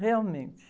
Realmente.